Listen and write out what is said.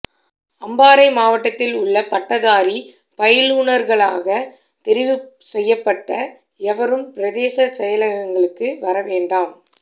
அம்பாறை மாவட்டத்தில் உள்ள பட்டதாரி பயிலூனர்களாக தெரிவுசெய்யப்பட்ட எவரும் பிரதேச செயலகங்களுக்கு வர வேண்டாம்